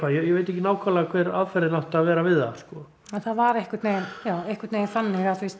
ég veit ekki nákvæmlega hver aðferðin átti að vera við það en það var einhvern veginn já einhvern veginn þannig